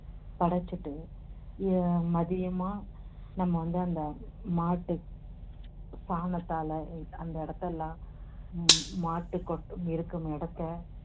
படைச்சிட்டு எர் மதியமா நம்ம வந்து அந்த மாட்டு சாணத்தால எர் அந்த இடத்தெல்லாம் உம் மாட்டுக் கொட்~ இருக்கும் இடத்தை